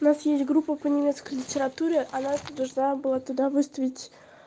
у нас есть группа по немецкой литературе а настя должна была туда выставить